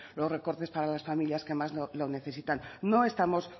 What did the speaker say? los recortes para las familias que más lo necesitan no estamos